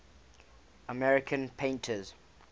american painters